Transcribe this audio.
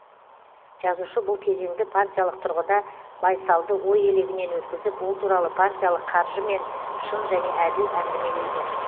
жазушы бұл кезеңді партиялық тұрғыда байсалды ой елегінен өткізіп ол туралы партиялық қаржымен шын және әділ әңгімелейді